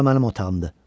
Bura mənim otağımdır.